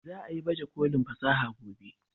Za a yi baje kolin fasaha gobe